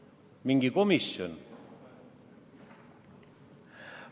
Kas mingi komisjon?